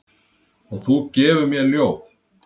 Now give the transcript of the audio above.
Og þú gefur mér ljóð.